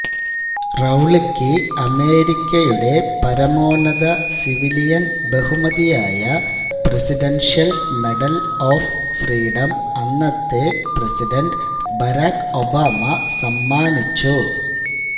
റൌളിക്ക് അമേരിക്കയുടെ പരമോന്നത സിവിലിയൻ ബഹുമതിയായ പ്രസിഡൻഷ്യൽ മെഡൽ ഓഫ് ഫ്രീഡം അന്നത്തെ പ്രസിഡന്റ് ബരാക് ഒബാമ സമ്മാനിച്ചു